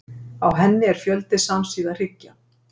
Á henni er fjöldi samsíða hryggja.